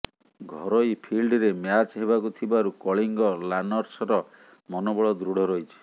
ଘରୋଇ ଫିଲ୍ଡରେ ମ୍ୟାଚ୍ ହେବାକୁ ଥିବାରୁ କଳିଙ୍ଗ ଲାନସର୍ସର ମନୋବଳ ଦୃଢ ରହିଛି